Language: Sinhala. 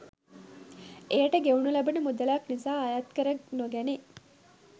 එයට ගෙවනු ලබන මුදලක් නිසා අයත්කර නොගැනේ